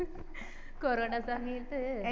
corona സമയത്ത്